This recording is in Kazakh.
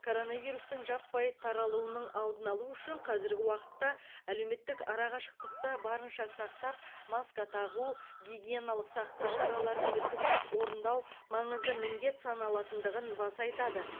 коронавирустың жаппай таралуының алдын алу үшін қазіргі уақытта әлеуметтік арақашықтықты барынша сақтап маска тағу гигиеналық сақтық шараларын мүлтіксіз орындау маңызды міндет саналатындығын баса айтады